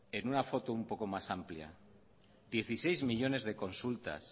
en una foto un poco más amplia dieciseis millónes de consultas